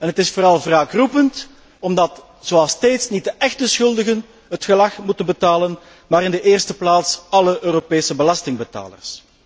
Het is vooral wraakroepend omdat, zoals steeds, niet de echte schuldigen het gelag moeten betalen maar in de eerste plaats alle Europese belastingbetalers.